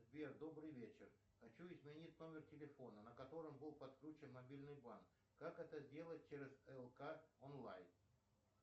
сбер добрый вечер хочу изменить номер телефона на котором был подключен мобильный банк как это сделать через лк онлайн